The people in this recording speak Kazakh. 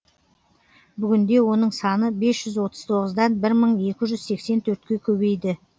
бүгінде оның саны бес жүз отыз тоғыздан бір мың екі жүз сексен төртке көбейді